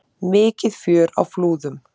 Mikið fjör á Flúðum